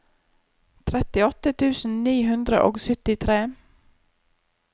trettiåtte tusen ni hundre og syttitre